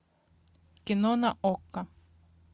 кино на окко